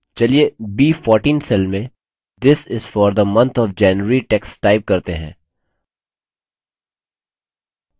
चलिए b14 cell में this is for the month of january text type करते हैं